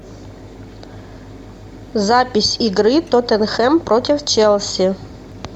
запись игры тоттенхэм против челси